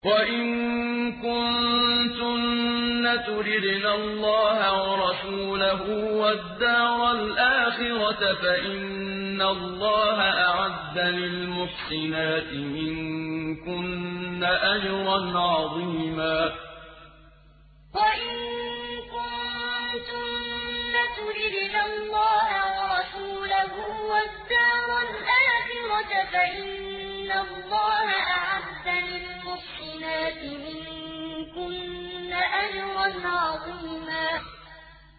وَإِن كُنتُنَّ تُرِدْنَ اللَّهَ وَرَسُولَهُ وَالدَّارَ الْآخِرَةَ فَإِنَّ اللَّهَ أَعَدَّ لِلْمُحْسِنَاتِ مِنكُنَّ أَجْرًا عَظِيمًا وَإِن كُنتُنَّ تُرِدْنَ اللَّهَ وَرَسُولَهُ وَالدَّارَ الْآخِرَةَ فَإِنَّ اللَّهَ أَعَدَّ لِلْمُحْسِنَاتِ مِنكُنَّ أَجْرًا عَظِيمًا